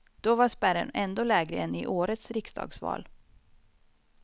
Då var spärren ändå lägre än i årets riksdagsval.